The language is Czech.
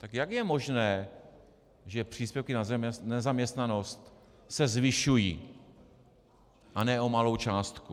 Tak jak je možné, že příspěvky na nezaměstnanost se zvyšují, a ne o malou částku?